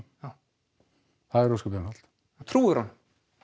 það er ósköp einfalt trúirðu honum